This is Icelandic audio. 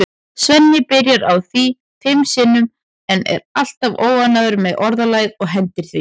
Svenni byrjar á því fimm sinnum en er alltaf óánægður með orðalagið og hendir því.